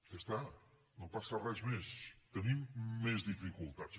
ja està no passa res més tenim més dificultats